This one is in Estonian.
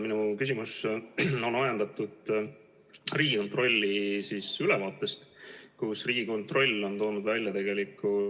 Minu küsimus on ajendatud Riigikontrolli ülevaatest, kus Riigikontroll on toonud välja tegeliku ...